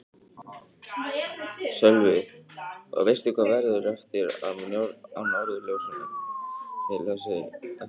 Sölvi: Og veistu hvað verður eftir af Norðurljósum þá eftir þessi kaup?